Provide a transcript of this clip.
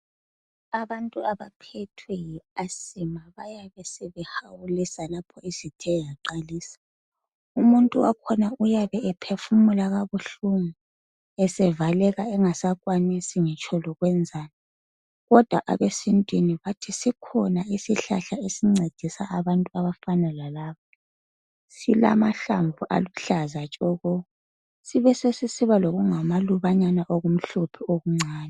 Abantu abaphethwe yi asma bayabe sebehawulisa lapho isithe yaqalisa . Umuntu wakhona uyabe ephefumula kabuhlungu esevaleka engasakwanisi ngitsho lokwenzani kodwa abesintwini bathi sikhona isihlahla esincedisa abantu abafana lalaba. Silamahlamvu aluhlaza tshoko. Sibe sesisiba lokungamalubanyana okumhlophe okuncane .